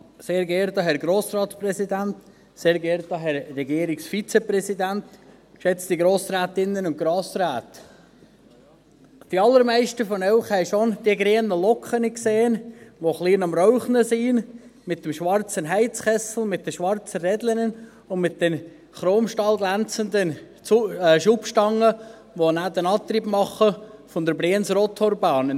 Die allermeisten von Ihnen haben schon die grünen Lokomotiven der Brienz-Rothorn-Bahn gesehen, die ein bisschen am Rauchen sind, mit dem schwarzen Heizkessel, mit den schwarzen Rädern und mit den chromstahlglänzenden Schubstangen, die einen netten Antrieb machen.